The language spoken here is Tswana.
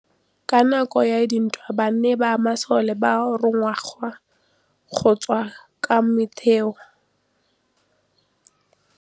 Ka nakô ya dintwa banna ba masole ba rongwa go tswa kwa mothêô.